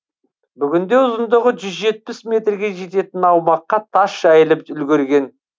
бүгінде ұзындығы жүз жетпіс метрге жететін аумаққа тас жайылып үлгерген